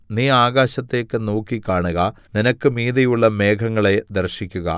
നീ ആകാശത്തേക്ക് നോക്കി കാണുക നിനക്ക് മീതെയുള്ള മേഘങ്ങളെ ദർശിക്കുക